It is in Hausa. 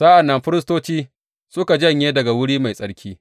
Sa’an nan firistoci suka janye daga Wuri Mai Tsarki.